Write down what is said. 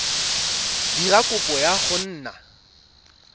dira kopo ya go nna